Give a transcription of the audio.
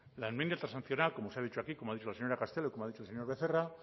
la enmienda transaccional como se ha dicho aquí como ha dicho la señora castelo como ha dicho el señor becerra